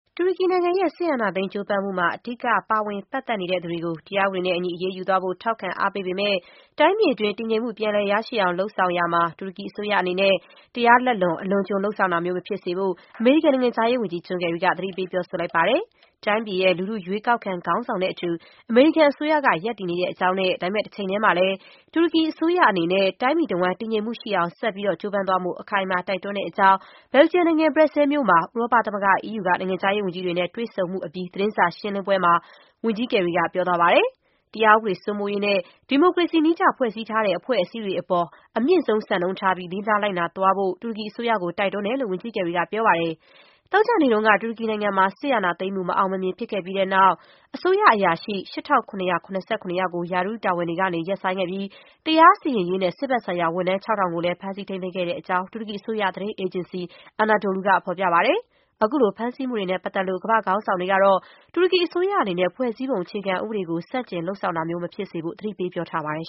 တူရကီနိုင်ငံရဲ့ စစ်အာဏာသိမ်း ကြိုးပမ်းမှုမှာ အဓိက ပါဝင်ပတ်သက်နေသူတွေကို တရားဥပဒေနဲ့အညီ အရေးယူသွားဖို့ ထောက်ခံအားပေးပေမဲ့၊ တိုင်းပြည်အတွင်း တည်ငြိမ်မှုပြန်လည်ရရှိအောင် လုပ်ဆောင်ရာမှာ တူရကီအစိုးရအနေနဲ့ တရားလက်လွန် အလွန်အကျွံ လုပ်ဆောင်တာမျိုး မဖြစ်စေဖို့ အမေရိကန် နိုင်ငံခြားရေးဝန်ကြီး ဂျွန်ကယ်ရီက သတိပေး ပြောဆိုလိုက်ပါတယ်။ တိုင်းပြည်ရဲ့ လူထု ရွေးကောက်ခံခေါင်းဆောင်နဲ့ အတူ အမေရိကန်အစိုးရက ရပ်တည်နေတဲ့အကြောင်း၊ ဒါပေမဲ့ တချိန်တည်းမှာလည်း တူရကီအစိုးရ အနေနဲ့ တိုင်းပြည်တဝှမ်း တည်ငြိမ်မှုရှိအောင် ဆက်လက်ကြိုးပမ်းသွားဖို့ အခိုင်အမာ တိုက်တွန်းတဲ့အကြောင်း ဘယ်လ်ဂျီယံနိုင်ငံ ဘရက်ဆဲလ်မြို့မှာ ဥရောပသမဂ္ဂ အီးယူက နိုင်ငံခြားရေး ဝန်ကြီးတွေနဲ့ တွေ့ဆုံမှုအပြီး သတင်းစာရှင်းလင်းပွဲတခုမှာ ဝန်ကြီးကယ်ရီက ပြောသွားပါတယ်။ တရားဥပဒေစိုးမိုးရေးနဲ့ ဒီမိုကရေစီနည်းကျ ဖွဲ့စည်းထားတဲ့ အဖွဲ့အစည်းတွေအပေါ် အမြင့်ဆုံး စံနှုန်းထားပြီး လေးစားလိုက်နာသွားဖို့ တူရကီအစိုးရကို တိုက်တွန်းတယ်လို့ ဝန်ကြီးကယ်ရီက ပြောပါတယ်။ သောကြာနေ့က တူရကီနိုင်ငံမှာ စစ်အာဏာသိမ်းမှု မအောင်မမြင်ဖြစ်ခဲ့ပြီးတဲ့နောက် အစိုးရအရာရှိ ၈,၇၇၇ ကို ရာထူးတာဝန်တွေ ကနေ ရပ်ဆိုင်းခဲ့ပြီး တရားစီရင်ရေးနဲ့ စစ်ဘက်ဆိုင်ရာ ဝန်ထမ်း ၆,၀၀၀ ကိုလည်း ဖမ်းဆီးထိန်းသိမ်းခဲ့တဲ့အကြောင်း တူရကီအစိုးရသတင်းအေဂျင်စီ Anadolu က ဖော်ပြပါတယ်။ အခုလို ဖမ်းဆီးမှုတွေနဲ့ပတ်သက်လို့ ကမ္ဘာ့ခေါင်းဆောင်တွေကတော့ တူရကီအစိုးရအနေနဲ့ ဖွဲ့စည်းပုံ အခြေခံဥပဒေကို ဆန့်ကျင် လုပ်ဆောင်တာမျိုး မဖြစ်စေဖို့ သတိပေး ပြောဆိုထားပါတယ်